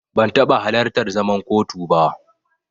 Ban taɓa halartar zaman kotu ba.